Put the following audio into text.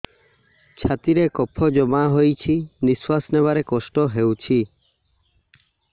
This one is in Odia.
ଛାତିରେ କଫ ଜମା ହୋଇଛି ନିଶ୍ୱାସ ନେବାରେ କଷ୍ଟ ହେଉଛି